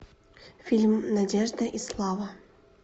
фильм надежда и слава